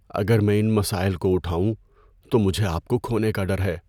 اگر میں ان مسائل کو اٹھاؤں تو مجھے آپ کو کھونے کا ڈر ہے۔